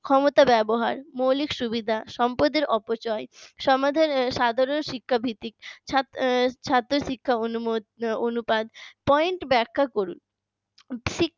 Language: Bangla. ক্ষমতা ব্যবহার মৌলিক সুবিধা সম্পদের অপচয় সমাজের সাদরে শিক্ষাবৃত্তিক ছাত্র শিক্ষা অনুমোদন অনুপাত piont ব্যাখ্যা করুন শিক্ষা